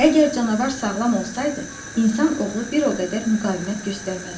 Əgər canavar sağlam olsaydı, insan oğlu bir o qədər müqavimət göstərməzdi.